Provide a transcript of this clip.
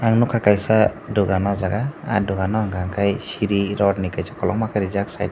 ang nugkha kaisa dugan aw jaaga ah dugan o unka kai sri rod ni kaisa kologma reejak site o.